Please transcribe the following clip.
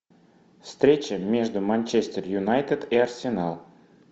встреча между манчестер юнайтед и арсенал